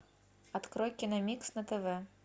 открой киномикс на тв